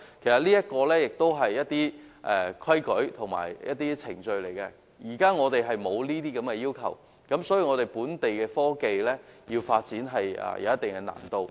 這些都是一些有效的規例和程序，但現時並沒有這些要求，因而令本地的科技發展有一定的難度。